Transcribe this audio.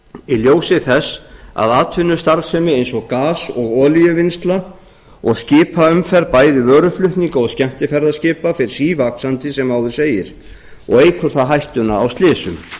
í ljósi þess að atvinnustarfsemi eins og gas og olíuvinnsla og skipaumferð bæri vöruflutninga og skemmtiferðaskipa fer sívaxandi sem áður segir og eykur það hættuna á slysum